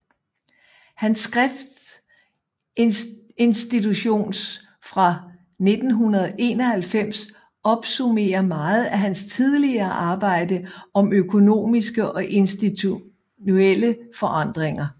Hans skrift Institutions fra 1991 opsummerer meget af hans tidligere arbejde om økonomiske og institutionelle forandringer